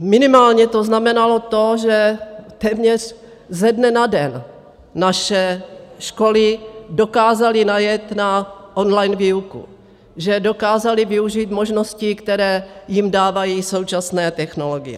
Minimálně to znamenalo to, že téměř ze dne na den naše školy dokázaly najet na online výuku, že dokázaly využít možností, které jim dávají současné technologie.